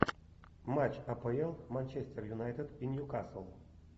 матч апл манчестер юнайтед и ньюкасл